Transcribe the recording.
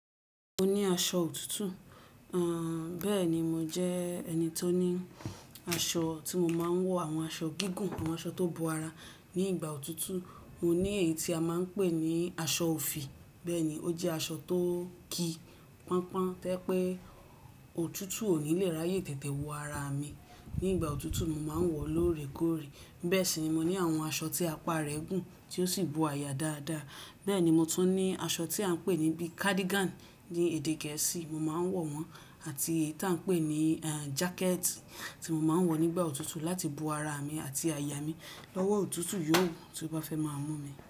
Mo ní aṣọ òtútù. Àn, bẹ́ẹ̀ ni, mo jẹ́ ẹni tó ní aṣọ tí mo máa ń wọ̀ àwọn aṣọ gígùn àwọn aṣọ tó bo ara ní ìgbà òtútù. Mo ní èyí tí a máa ń pè ní aṣọ òfì bẹ́ẹ̀ ni, ó jẹ́ aṣọ tó ki pọ́npọ́n tẹ́ pé òtútù ò ní lè ráyè tètè wo ara mi. Ní ìgbà òtútù, mo máa ń wọ̀ ó lóòrè kóòrè. Bẹ́ẹ̀ sì ni mo ní àwọn aṣọ tí apá rẹ̀ gùn tí ó sì bo aya dáadáa. Bẹ́ẹ̀ ni mo tún ní aṣọ tí a ń pè ní bí i cardigan ní èdè gẹ̀ẹ́sì mo máa ń wọ̀ wọ́n àti èyí tí a ń pè ní àń jàkẹ́ẹ̀tì tí mo máa ń wọ̀ nígbà òtútù láti bo ara mi àti aya mi lọ́wọ́ òtútù yòówù tí ó bá fẹ́ máa mú mi.